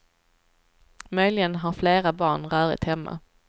Möjligen har flera barn rörigt hemma.